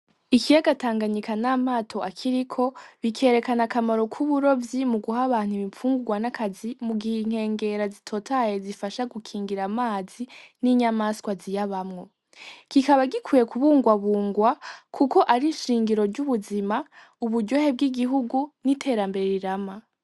Ikiyaga tanganyika n'amato akiriko:bikerana akamaro k'uburovyi, muguha abantu ibifungurwa n'akazi, mugihe inkengera zitotahaye zifasha gukingira amazi n'inyamaswa ziyabamwo, kikaba gikwiye ,mukukibungabunga kuko gifasha mubuzima ,uburyohe bw'igihugu n'ierambere rirama.